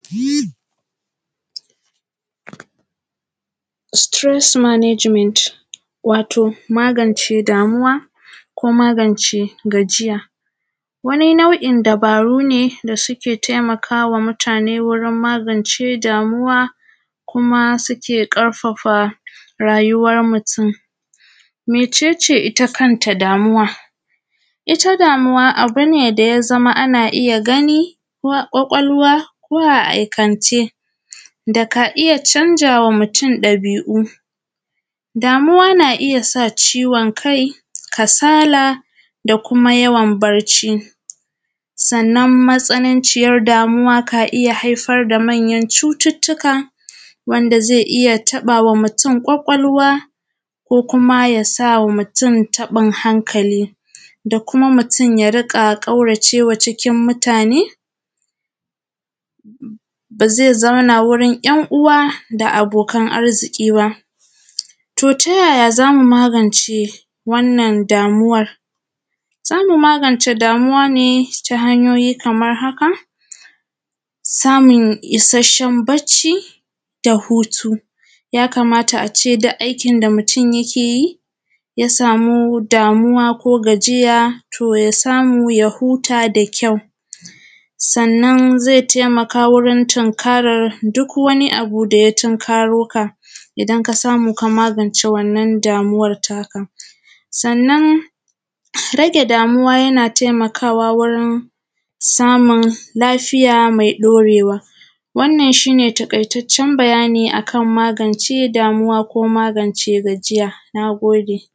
Stress Management, wato magance damuwa ko magance gajiya wani nau’in dubaru ne da suke taimakawa mutane wajen magance damuwa kuma ya ƙarfafa rayuwan mutun. Mece ce ita kanta damuwa? Ita damawa abu ce da ana iya gani a kwakwalwa ko a aikance daka iya canza wa mutun ɗabi’u, damuwa na iya sa ciwon kai, kasala da kuma yawan bacci, sannan matsalanciyan damuwa na iya haifar da manyan cututtuka wanda zai iya taɓawa mutun kwakwalwa ko kuma ya sawa mutun taɓun hankali da kuma mutun ya dunga ƙauracewa cikin mutane, ba ze zauna cikin ‘yan’uwa da abokan arziƙi ba. To, ta yaya za mu magance wannan damuwan? Za mu magace damuwa ne ta hanyoyi kaman haka: samun isashshen bacci da hutu ya kamata a ce duk aikin da mutun yake yi ya samu damuwa ko gajiya to ya samu ya huta da kyau, sannan zai taimaka wajen tunkaran duk wani abu da ya tunkaroka, idan ka samu ka magance wannan damuwan naka sannan ka rage damuwa yana taimakawa wajen samun lagfiya me ɗorewa. Wannan shi ne taƙaitaccen bayani akan magance damuwa ko magance gajiya. Na gode.